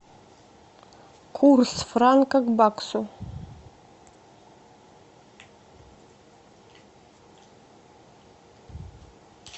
курс франка к баксу